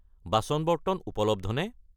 বাচন-বৰ্তন উপলব্ধনে?